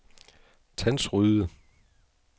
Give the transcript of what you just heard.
Tandsryde